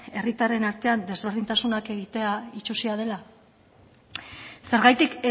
herritarren artean desberdintasunak egitea itsusia dela zergatik